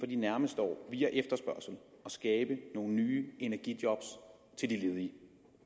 de nærmeste år via efterspørgsel at skabe nogle nye energijob til de ledige